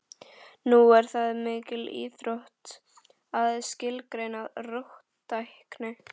Nú er það mikil íþrótt að skilgreina róttækni.